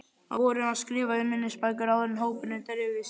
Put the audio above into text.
Á vorin var skrifað í minningabækur áður en hópurinn dreifðist.